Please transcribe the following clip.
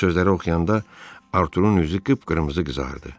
Bu sözləri oxuyanda Arturun üzü qıp-qırmızı qızardı.